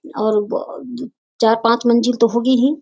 और व चार पांच मंजिल तो होगी ही।